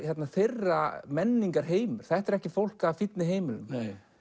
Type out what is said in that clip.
þeirra menningarheimur þetta er ekki fólk af fínni heimilum